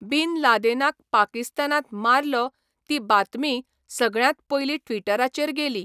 बिन लादेनाक पाकिस्तानांत मारलो ती बातमीय सगळ्यांत पयलीं ट्विटराचेर गेली.